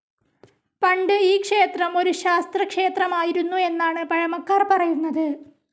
പണ്ട് ഈ ക്ഷേത്രം ഒരു ശാസ്താക്ഷേത്രമായിരുന്നു എന്നാണ് പഴമക്കാർ പറയുന്നത്.